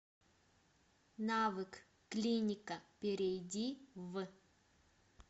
навык клиника перейди в